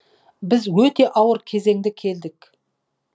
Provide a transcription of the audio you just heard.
біз өте ауыр кезеңде келдік